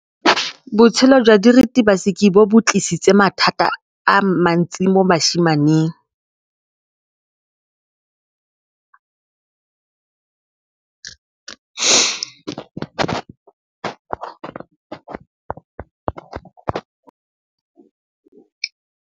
Botshelo jwa diritibatsi ke bo tlisitse mathata mo basimaneng ba bantsi.